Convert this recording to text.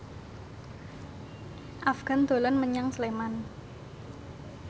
Afgan dolan menyang Sleman